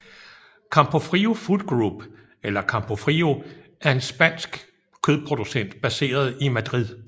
Campofrio Food Group eller Campofrío er en spansk kødproducent baseret i Madrid